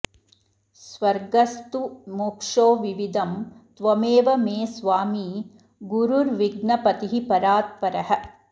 स्वर्गस्तु मोक्षो विविधं त्वमेव मे स्वामी गुरुर्विघ्नपतिः परात्परः